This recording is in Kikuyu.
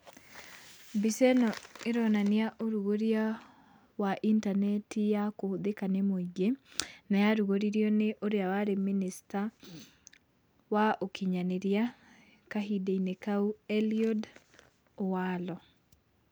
Mbica ĩno ĩronania ũrugũria wa intaneti ya kĩhũthĩka nĩ mũingĩ, na yarugũririo nĩ ũrĩa warĩ mĩnĩsta wa ũkinyanĩria kahinda-inĩ kau, Eliud Walo.